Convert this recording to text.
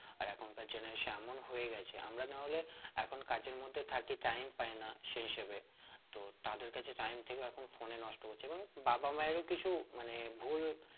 আর এখনকার generation এমন হয়ে গেছে আমরা না হলে এখন কাজের মধ্যে থাকি time পাইনা সেই হিসেবে তো তাদের কাছে time থেকে এখন phone এ নষ্ট করছে এবং বাবা মায়ের ও কিছু মানে ভুল